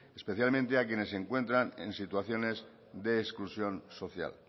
especialmente a quienes se encuentran en situaciones de exclusión social